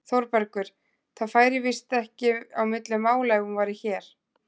ÞÓRBERGUR: Það færi víst ekki á milli mála ef hún væri hér!